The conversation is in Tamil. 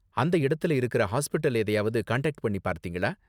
அந்த இடத்துல இருக்குற ஹாஸ்பிடல் எதையாவது காண்டாக்ட் பண்ணி பார்த்தீங்களா?